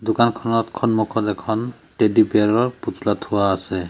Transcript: দোকানখনত খনমুখত এখন টেডি বিয়াৰ ৰ পুতলা থোৱা আছে।